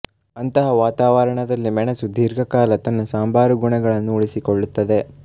ಅಂತಹ ವಾತಾವರಣದಲ್ಲಿ ಮೆಣಸು ದೀರ್ಘಕಾಲ ತನ್ನ ಸಾಂಬಾರ ಗುಣಗಳನ್ನು ಉಳಿಸಿಕೊಳ್ಳುತ್ತದೆ